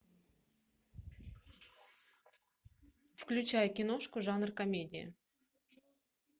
включай киношку жанр комедия